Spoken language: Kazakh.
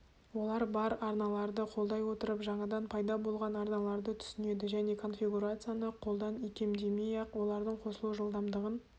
олар бар арналарды қолдай отырып жаңадан пайда болған арналарды түсінеді және конфигурацияны қолдан икемдемей-ақ олардың қосылу жылдамдығын